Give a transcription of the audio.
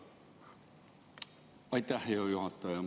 Aitäh, hea juhataja!